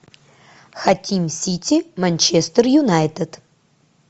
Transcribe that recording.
хотим сити манчестер юнайтед